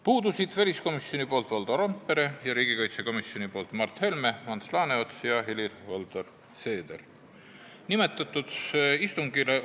Puudusid Valdo Randpere väliskomisjonist ning Mart Helme, Ants Laaneots ja Helir-Valdor Seeder riigikaitsekomisjonist.